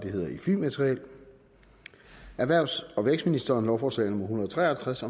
halvtreds erhvervs og vækstministeren lovforslag en hundrede og tre og halvtreds